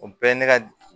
O bɛɛ ye ne ka